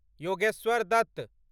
Yogeshwar Dutt